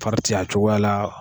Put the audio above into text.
Fari ti a cogoya la.